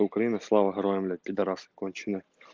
украина слава героям блять пидарас конченые